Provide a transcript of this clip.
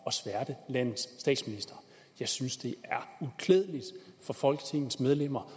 at tilsværte landets statsminister jeg synes det er uklædeligt for folketingets medlemmer